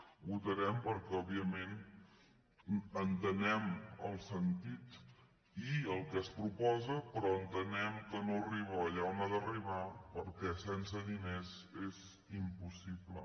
ho votarem perquè òbviament entenem el sen·tit i el que es proposa però entenem que no arriba allà on ha d’arribar perquè sense diners és impossible